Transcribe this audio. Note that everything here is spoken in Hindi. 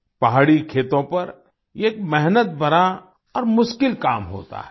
पहाड़ी खेतों पर ये एक मेहनत भरा और मुश्किल काम होता है